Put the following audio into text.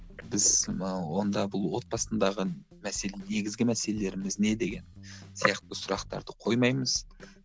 біз мынау онда бұл отбасындағы негізгі мәселелеріміз не деген сияқты сұрақтарды қоймаймыз